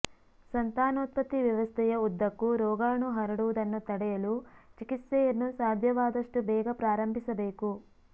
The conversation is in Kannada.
ಸಂತಾನೋತ್ಪತ್ತಿ ವ್ಯವಸ್ಥೆಯ ಉದ್ದಕ್ಕೂ ರೋಗಾಣು ಹರಡುವುದನ್ನು ತಡೆಯಲು ಚಿಕಿತ್ಸೆಯನ್ನು ಸಾಧ್ಯವಾದಷ್ಟು ಬೇಗ ಪ್ರಾರಂಭಿಸಬೇಕು